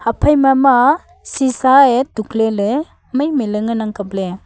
haphai ma ema sisa e tuk ley ley mai mai ley ngan ang kap ley.